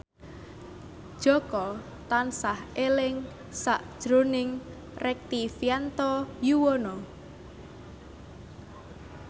Jaka tansah eling sakjroning Rektivianto Yoewono